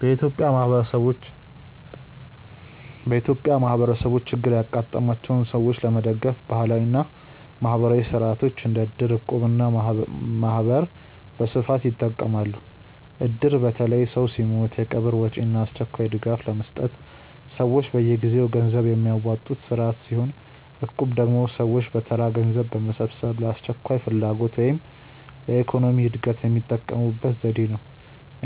በኢትዮጵያ ማህበረሰቦች ችግር ያጋጠማቸውን ሰዎች ለመደገፍ ባህላዊ እና ማህበራዊ ሥርዓቶች እንደ እድር፣ እቁብ እና ማህበር በስፋት ይጠቀማሉ። እድር በተለይ ሰው ሲሞት የቀብር ወጪ እና አስቸኳይ ድጋፍ ለመስጠት ሰዎች በየጊዜው ገንዘብ የሚያዋጡበት ስርዓት ሲሆን፣ እቁብ ደግሞ ሰዎች በተራ ገንዘብ በመሰብሰብ ለአስቸኳይ ፍላጎት ወይም ለኢኮኖሚ እድገት የሚጠቀሙበት ዘዴ ነው።